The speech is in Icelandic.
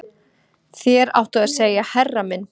Þér áttuð að segja herra minn